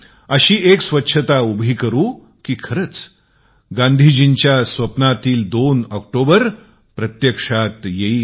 अशी स्वच्छता उभी करू की खरच गांधींच्या स्वप्नातील 2 ऑक्टोंबर होईल